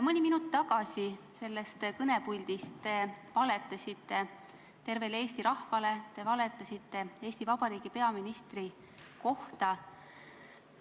Mõni minut tagasi te sellest kõnepuldist valetasite tervele Eesti rahvale, te valetasite Eesti Vabariigi peaministri kohta.